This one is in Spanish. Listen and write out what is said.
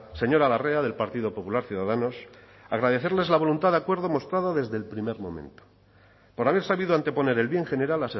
señora larrea del partido popular ciudadanos agradecerles la voluntad de acuerdo mostrada desde el primer momento por haber sabido anteponer el bien general